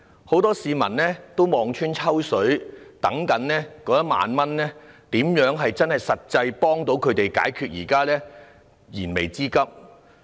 很多市民也望穿秋水，等待政府派發1萬元，獲得實際幫助，解決自己的燃眉之急。